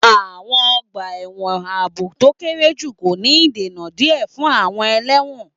Àwọn ọgbà ẹ̀wọ̀n ààbò tó kéré jù kò ní ìdènà díẹ̀ fún àwọn ẹlẹ́wọ̀n.